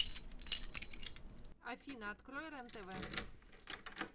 афина открой рен тв